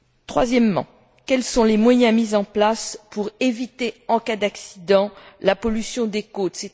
Troisièmement, quels sont les moyens mis en place pour éviter, en cas d'accident, la pollution des côtes?